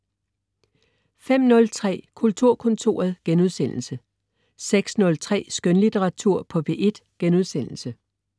05.03 Kulturkontoret* 06.03 Skønlitteratur på P1*